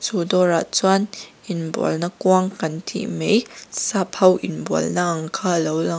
chu dawrah chuan inbualna kuang kan tih mai sap ho inbualna ang kha a lo lang--